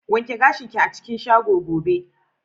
Wanke gashin ki a cikin shago gobe!